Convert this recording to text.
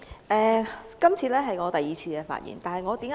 主席，這次是我第二次發言。